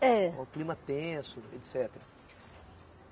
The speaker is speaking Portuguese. É. O clima tenso, etcetera.